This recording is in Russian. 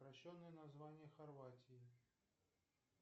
упрощенное название хорватии